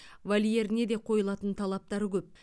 вольеріне де қойылатын талаптары көп